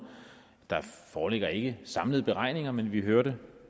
der foreligger ikke samlede beregninger men vi hørte